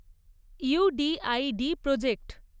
you D I D project